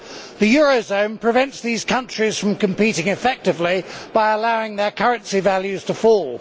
The eurozone prevents these countries from competing effectively by allowing their currency values to fall.